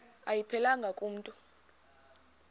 ayiphelelanga ku mntu